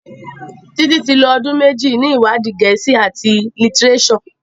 Titi tí lọ ọdún méjì ní iwadi Gèésì at litireso.